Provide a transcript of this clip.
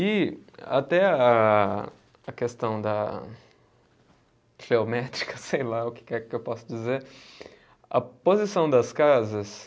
E até a, a questão da geométrica, sei lá o que é que eu posso dizer, a posição das casas